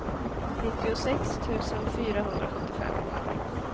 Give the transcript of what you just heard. nittiosex tusen fyrahundrasjuttiofem